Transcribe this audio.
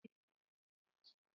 Unu ga-egbu ọbọgwụ echi?